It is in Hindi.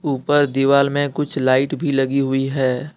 ऊपर दीवाल में कुछ लाइट भी लगी हुई है।